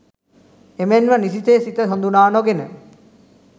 එමෙන්ම නිසිසේ සිත හඳුනා නොගෙන